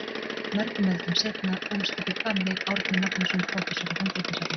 Mörgum öldum seinna ólst upp í Hvammi Árni Magnússon prófessor og handritasafnari.